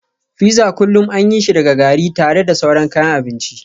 Fizza kullu an yi shi daga gari tare da sauran kayan abinci